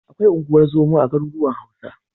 Akwai unguwar zoma a garuruwan Hausa.